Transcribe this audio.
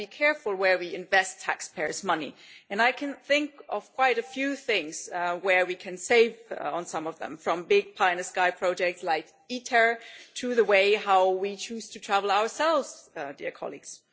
We have to be careful with where we invest taxpayers' money, and I can think of quite a few cases where we can save on some of them, from big pie-in-the-sky projects like ITER to the way we choose to travel ourselves, dear colleagues.